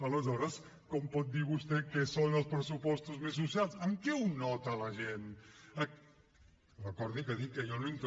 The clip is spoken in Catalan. aleshores com pot dir vostè que són els pressupostos més socials en què ho nota la gent recordi que ha dit